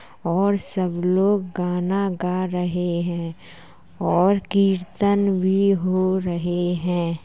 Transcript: और सब लोग गाना गा रहे है और कीर्तन भी हो रहे हैं।